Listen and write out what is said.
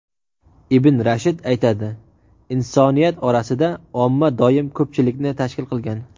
Ibn Rushd aytadi: "Insoniyat orasida omma doim ko‘pchilikni tashkil qilgan".